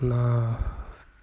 на